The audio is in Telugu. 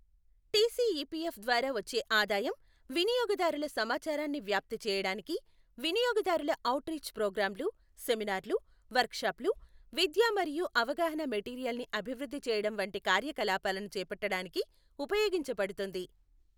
టిసిఈపిఎఫ్ ద్వారా వచ్చే ఆదాయం వినియోగదారులకు సమాచారాన్ని వ్యాప్తి చేయడానికి వినియోగదారుల ఔట్రీచ్ ప్రోగ్రామ్లు, సెమినార్లు, వర్క్షాప్లు, విద్యా మరియు అవగాహన మెటీరియల్ని అభివృద్ధి చేయడం వంటి కార్యకలాపాలను చేపట్టడానికి ఉపయోగించబడుతుంది.